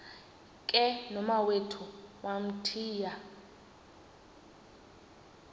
ke nomawethu wamthiya